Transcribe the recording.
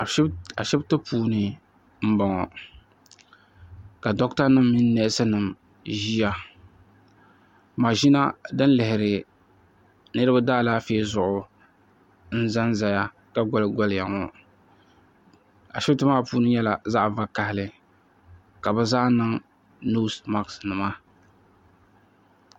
Ashibiti puuni m-bɔŋɔ ka dɔkitanima mini neesinima ʒiya maʒina din lihiri niriba daalaafee zuɣu n-za n-zaya ka ɡoliɡoliya ŋɔ ashibiti maa puuni nyɛla zaɣ' vakahili ka bɛ zaa niŋ noosimakisinima